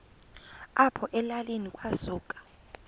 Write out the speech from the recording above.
apho elalini kwasuka